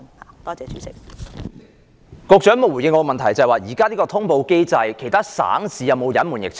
局長沒有回應我的補充質詢，我問在目前的通報機制下，其他省市有否隱瞞疫情？